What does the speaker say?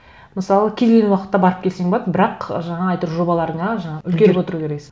мысалы кез келген уақытта барып келсең болады бірақ жаңа жобаларыңа жаңа үлгеріп отыру керексін